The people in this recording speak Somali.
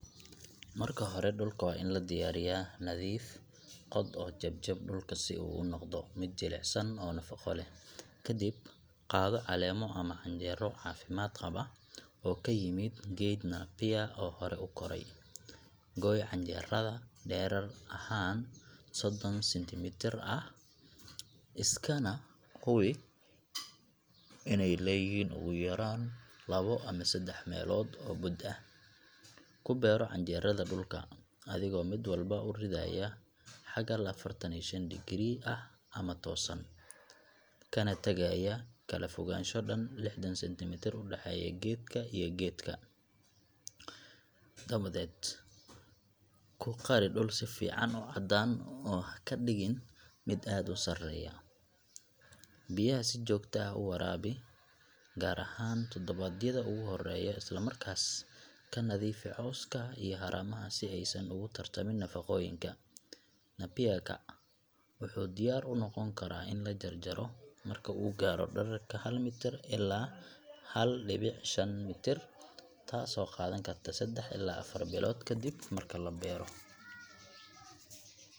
Marka hore, dhulka waa in la diyaariyaa — nadiif, qod oo jeb jeb dhulka si uu u noqdo mid jilicsan oo nafaqo leh. Kadib, qaado caleemo ama canjeero caafimaad qaba oo ka yimid geed nappier oo hore u koray. Goy canjeerada dherer ahaan soddon centimetre ah, iskana hubi inay leeyihiin ugu yaraan labo ama saddex meelood oo bud ah. Ku beero canjeerada dhulka, adigoo mid walba u ridaya xagal affartan iyo shan degree ah ama toosan, kana tagaya kala fogaansho dhan lixdan centimetre u dhexeeya geedka iyo geedka. Dabadeed ku qari dhul si fiican u cadaan oo ha ka dhigin mid aad u sarreeya. Biyaha si joogto ah u waraabi, gaar ahaan toddobaadyada ugu horreeya. Isla markaas, ka nadiifi cawska iyo haramaha si aysan ugu tartamin nafaqooyinka. Nappier ka wuxuu diyaar u noqon karaa in la jarjaro marka uu gaaro dhererka hal mitir ilaa hal dhibic shan mitir, taasoo qaadan karta seddax ilaa afar bilood kadib marka la beero.